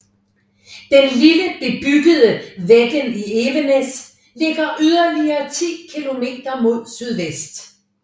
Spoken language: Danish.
Den lille bebyggelse Veggen i Evenes ligger yderligere ti kilometer mod sydvest